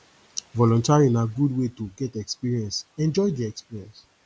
volunteering na very good way to get experience enjoy di experience